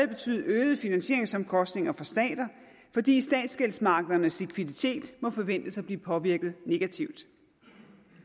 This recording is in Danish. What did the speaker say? betyde øgede finansieringsomkostninger for stater fordi statsgældsmarkedernes likviditet må forventes at blive påvirket negativt